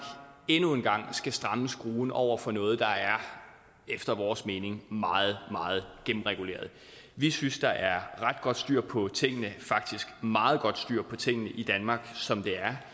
endnu en gang skal stramme skruen over for noget der efter vores mening meget meget gennemreguleret vi synes der er ret godt styr på tingene faktisk meget godt styr på tingene i danmark som